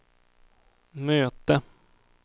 möte